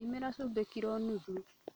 Thimĩra cumbĩ kiro nuthu